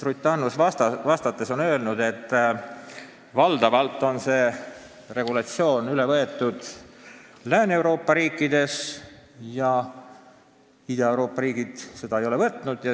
Ruth Annus ütles vastuseks sedagi, et valdavalt on Lääne-Euroopa riigid selle regulatsiooni üle võtnud ja Ida-Euroopa riigid ei ole seda teinud.